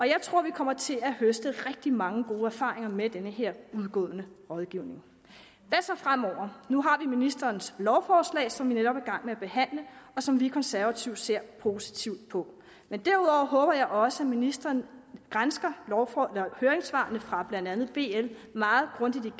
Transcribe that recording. jeg tror vi kommer til at høste rigtig mange gode erfaringer med den her udgående rådgivning hvad så fremover nu har vi ministerens lovforslag som vi netop er i gang med at behandle og som vi konservative ser positivt på men derudover håber jeg også at ministeren gransker høringssvarene fra blandt andet bl meget grundigt